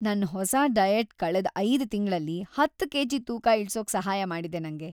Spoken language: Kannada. ನನ್ ಹೊಸ ಡಯಟ್‌ ಕಳೆದ್ ಐದು ತಿಂಗ್ಳಲ್ಲಿ ಹತ್ತು ಕೆ.ಜಿ. ತೂಕ ಇಳ್ಸೋಕ್‌ ಸಹಾಯ ಮಾಡಿದೆ ನಂಗೆ.